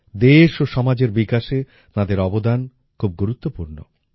দেশ ও সমাজের বিকাশে তাঁদের অবদান খুব গুরুত্বপূর্ণ